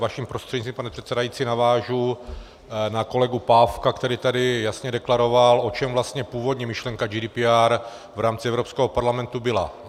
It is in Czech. Vaším prostřednictvím, pane předsedající, navážu na kolegu Pávka, který tady jasně deklaroval, o čem vlastně původní myšlenka GDPR v rámci Evropského parlamentu byla.